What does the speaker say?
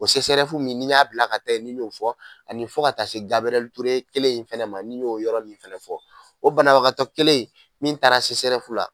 O sesɛrɛfu min n'i y'a bila ka taa yen ni n y'o fɔ ani fɔ taa ka taa se gabiriyɛli ture kelen in fɛnɛ ma ni n y'o yɔrɔ min fɛnɛ fɔ o banabagakatɔ kelen in min taara sesɛrɛfu la